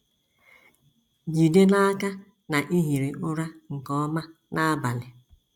Jide n’aka na i hiri ụra nke ọma n’abalị